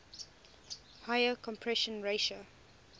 higher compression ratio